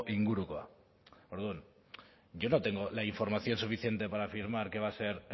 ingurukoa orduan yo no tengo la información suficiente para afirmar que va a ser